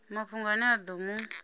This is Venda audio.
mafhungo ane a ḓo mu